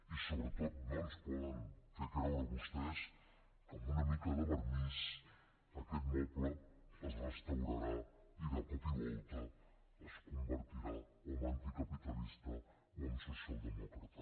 i sobretot no ens poden fer creure vostès que amb una mica de vernís aquest moble es restaurarà i de cop i volta es convertirà o en anticapitalista o en socialdemòcrata